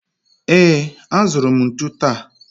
Ee, azụrụ m ntụ taa